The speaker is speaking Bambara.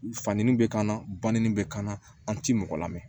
Fandeli bɛ kan na baninni bɛ kan an tɛ mɔgɔ lamɛn